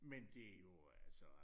Men det jo altså